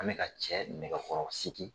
Ani ka cɛ nɛgɛkɔrɔsigi.